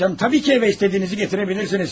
Canım, əlbəttə ki evə istədiyinizi gətirə bilərsiniz.